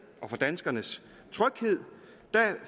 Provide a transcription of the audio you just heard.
og for danskernes tryghed